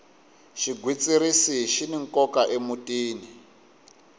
xigwitsirisi xini nkoka emutini